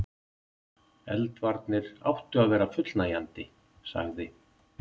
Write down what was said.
Eldvarnir áttu að vera fullnægjandi. sagði